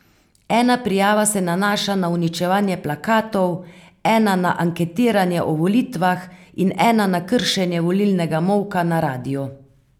Ena prijava se nanaša na uničevanje plakatov, ena na anketiranje o volitvah in ena na kršenje volilnega molka na radiu.